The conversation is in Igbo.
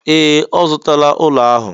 Ee! Ọ zụtala ụlọ ahụ.